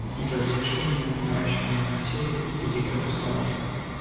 джой запиши меня на наращивание ногтей и педикюр в салон